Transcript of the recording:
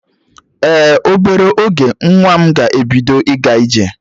Ee, obere oge nwa m ga-ebido ịga ije